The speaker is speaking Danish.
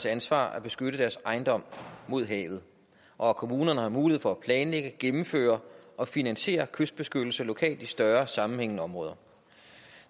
ansvar at beskytte deres ejendom mod havet og at kommunerne har mulighed for at planlægge gennemføre og finansiere kystbeskyttelse lokalt i større sammenhængende områder